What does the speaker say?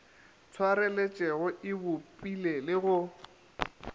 swareletšego e bopile le go